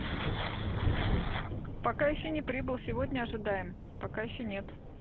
пока ещё не прибыл сегодня ожидаем пока ещё нет